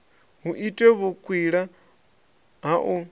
hu itwe vhukwila ha u